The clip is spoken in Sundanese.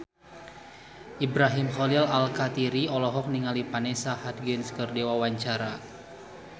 Ibrahim Khalil Alkatiri olohok ningali Vanessa Hudgens keur diwawancara